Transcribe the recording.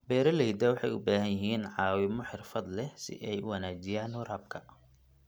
Beeralayda waxay u baahan yihiin caawimo xirfad leh si ay u wanaajiyaan waraabka.